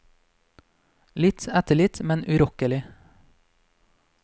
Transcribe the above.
Litt etter litt, men urokkelig.